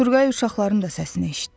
Turqay uşaqların da səsini eşitdi.